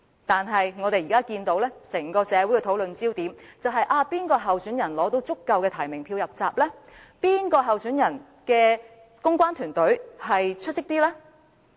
但是，現時整個社會的討論焦點，是哪位參選人取得足夠提名票"入閘"？哪位參選人的公關團隊比較出色？